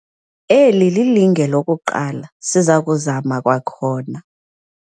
Eli lilinge lokuqala siza kuzama kwakhona.